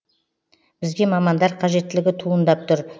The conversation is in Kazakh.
бізге мамандар қажеттілігі туындап тұр